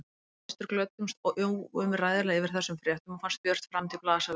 Við systur glöddumst óumræðilega yfir þessum fréttum og fannst björt framtíð blasa við okkur.